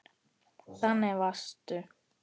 Þannig varstu.